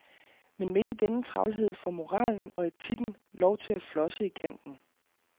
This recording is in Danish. Men midt i denne travlhed får moralen og etikken lov til at flosse i kanten.